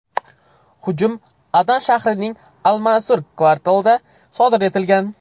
Hujum Adan shahrining Al-Mansur kvartalida sodir etilgan.